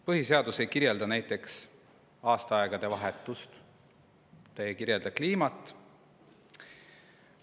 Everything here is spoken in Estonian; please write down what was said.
Põhiseadus ei kirjelda näiteks aastaaegade vahetust, ei kirjelda kliimat.